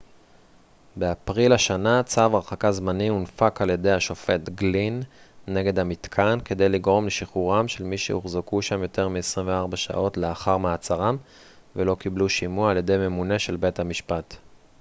באפריל השנה צו הרחקה זמני הונפק על-ידי השופט גלין נגד המתקן כדי לגרום לשחרורם של מי שהוחזקו שם יותר מ-24 שעות לאחר מעצרם ולא קיבלו שימוע על ידי ממונה של בית-משפט